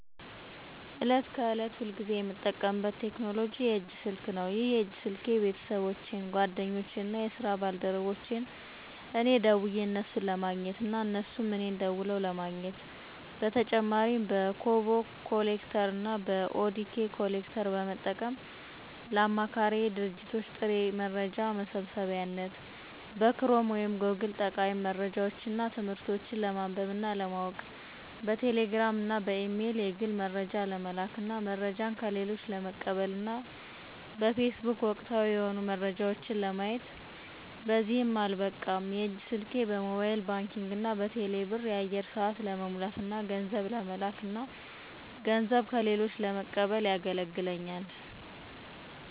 ዕለት ከዕለት ሁልጊዜ የምጠቀምበት ቴክኖሎጂ የእጅ ስልክ ነው። ይህ የእጅ ስልኬ ቤተሰቦቼን፣ ጓደኞቼን እና የስራ ባልደረቦቼን እኔ ደውየ እነሱን ለማግኘት እና እነሱም እኔን ደውለው ለማግኘት። በተጨማሪ በኮቦ ኮሌክተር እና በኦዲኬ ኮሌክተር በመጠቀም ለአማካሪ ድርጅቶች ጥሬ መረጃ መሰብሰቢያነት፣ በክሮም ወይም ጎግል ጠቃሚ መረጃዎች እና ትምህርቶች ለማንበብ እና ለማወቅ፣ በቴሌ ግራም እና በኢሜል የግል መረጃ ለመላክ እና መረጃ ከሌሎች ለመቀበል እና በፌስቡክ ወቅታዊ የሆኑ መረጃዎች ለማየት። በዚህም አልበቃ የእጅ ስልኬ በሞባይል ባንኪንግ እና በቴሌ ብር የአየር ሰአት ለመሙላት እና ገንዘብ ለመለክ እና ገንዘብ ከሌሎች ለመቀበል የገለግለኛል።